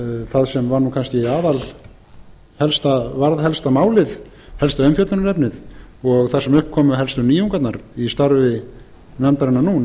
það sem varð kannski helsta umfjöllunarefnið og það sem upp komu helstu nýjungarnar í starfi nefndarinnar nú